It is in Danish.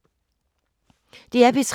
DR P3